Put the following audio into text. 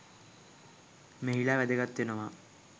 මෙහිලා වැදගත් වෙනවා.